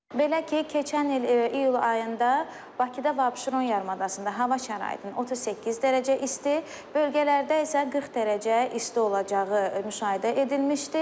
Belə ki, keçən il iyul ayında Bakıda və Abşeron yarımadasında hava şəraitinin 38 dərəcə isti, bölgələrdə isə 40 dərəcə isti olacağı müşahidə edilmişdir.